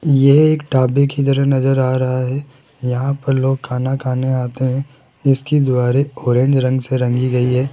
ये एक ढाबे की तरह नजर आ रहा है यहां पर लोग खाना खाने आते हैं इसकी दीवारें ऑरेंज रंग से रंगी गई है।